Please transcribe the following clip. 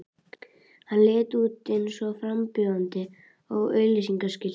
Hann leit út eins og frambjóðandi á auglýsingaskilti.